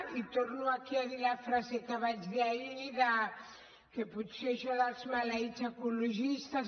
i torno aquí a dir la frase que vaig dir ahir que potser això dels maleïts ecologistes